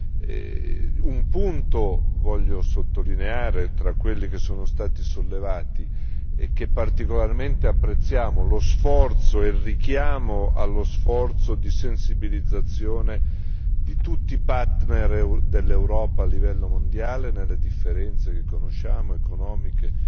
Vorrei sottolineare un punto tra quelli che sono stati sollevati e che particolarmente apprezziamo lo sforzo e il richiamo allo sforzo di sensibilizzazione di tutti i partner dell'Europa a livello mondiale, nelle differenze che conosciamo economiche,